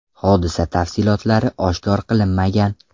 Hodisa tafsilotlari oshkor qilinmagan.